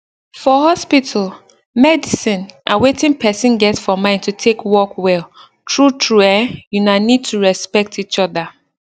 for hospital medicine and wetin person get for mind to take work well true true eh una need to respect each other